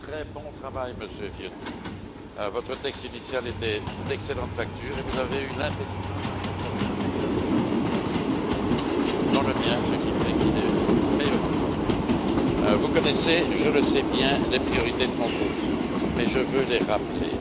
Très bon travail, Monsieur Viotti, votre texte initial était d'excellente facture et vous avez eu l'intelligence d'incorporer le meilleur des amendements des groupes politiques, dont le mien, ce qui fait qu'il est meilleur encore. Vous connaissez, je le sais bien, les priorités de mon groupe, mais je veux les rappeler.